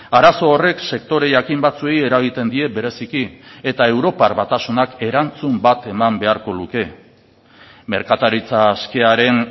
arazo horrek sektore jakin batzuei eragiten die bereziki eta europar batasunak erantzun bat eman beharko luke merkataritza askearen